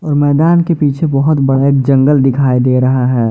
और मैदान के पीछे बहोत बड़ा एक जंगल दिखाई दे रहा है।